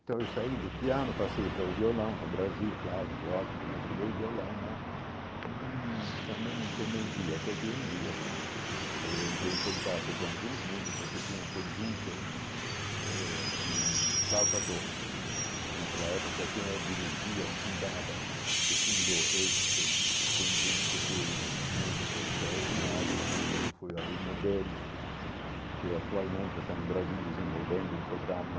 Então eu saí do piano, passei para o violão no Brasil, claro, lógico, não estudei violão, mas hum também não convenci até que um dia eu entrei em contato com alguns músicos que tinham um conjunto eh de flauta doce naquela época, quem é dirigia, e fundava e fundou este conjunto, foi um músico extraordinário, eu fui o aluno dele que atualmente está no Brasil desenvolvendo um programa